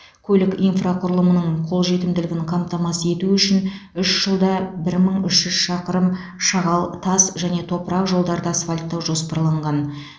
көлік инфрақұрылымының қол жетімділігінің қамтамасыз ету үшін үш жылда бір мың үш жүз шақырым шағал тас және топырақ жолдарды асфальттау жоспарланған